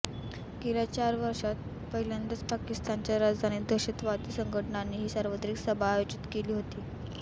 गेल्या चार वर्षांत पहिल्यांदाच पाकिस्तानच्या राजधानीत दहशतवादी संघटनांनी ही सार्वजनिक सभा आयोजिक केली होती